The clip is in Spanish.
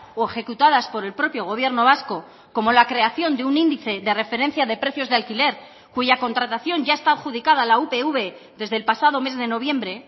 o ejecutadas por el propio gobierno vasco como la creación de un índice de referencia de precios de alquiler cuya contratación ya está adjudicada a la upv desde el pasado mes de noviembre